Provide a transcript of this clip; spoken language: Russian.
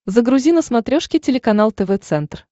загрузи на смотрешке телеканал тв центр